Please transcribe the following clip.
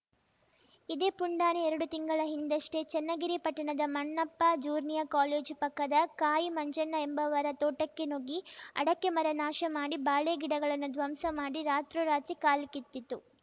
ಇದೇ ಪುಂಡಾನೆ ಎರಡು ತಿಂಗಳ ಹಿಂದಷ್ಟೇ ಚನ್ನಗಿರಿ ಪಟ್ಟಣದ ಮಣ್ಣಪ್ಪ ಜೂರ್ನಿಯ ಕಾಲೇಜು ಪಕ್ಕದ ಕಾಯಿ ಮಂಜಣ್ಣ ಎಂಬುವರ ತೋಟಕ್ಕೆ ನುಗ್ಗಿ ಅಡಕೆ ಮರ ನಾಶ ಮಾಡಿ ಬಾಳೆ ಗಿಡಗಳನ್ನು ಧ್ವಂಸ ಮಾಡಿ ರಾತ್ರೋರಾತ್ರಿ ಕಾಲ್ಕಿತ್ತಿತ್ತು